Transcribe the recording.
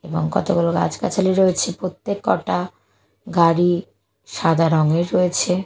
এবং কতগুলো গাছগাছালি রয়েছে প্রত্যেককটা গাড়ি সাদা রঙের রয়েছে।